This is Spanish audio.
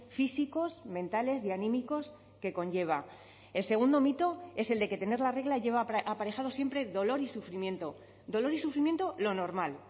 físicos mentales y anímicos que conlleva el segundo mito es el de que tener la regla lleva aparejado siempre dolor y sufrimiento dolor y sufrimiento lo normal